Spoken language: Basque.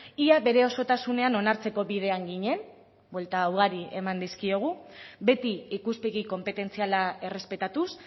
ia bere osotasunean onartzeko bidean ginen buelta ugari eman dizkiogu beti ikuspegi konpetentziala errespetatuz